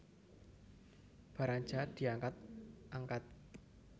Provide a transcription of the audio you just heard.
Barang jahat diangkat angkat